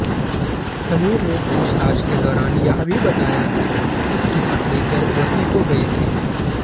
समीर ने पूछताछ के दौरान यह भी बताया कि उसकी पत्नी गर्भवती हो गयी थी